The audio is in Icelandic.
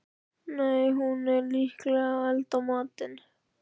Nei, hún er líklega að elda matinn.